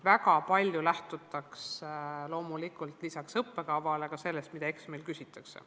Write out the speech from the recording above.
Väga paljuski lähtutakse lisaks õppekavale loomulikult sellest, mida eksamil küsitakse.